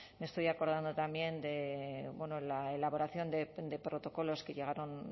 me estoy acordado también de la elaboración de protocolos que llegaron